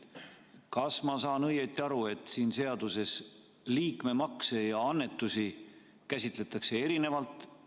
Kas ma saan õigesti aru, et siin seaduses liikmemakse ja annetusi käsitletakse erinevalt?